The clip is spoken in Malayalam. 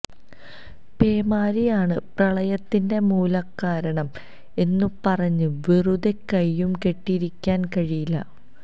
പേമാരിയാണ് പ്രളയത്തിന്റെ മൂലകാരണം എന്നു പറഞ്ഞ് വെറുതെ കൈയും കെട്ടിയിരിക്കാന് കഴിയില്ല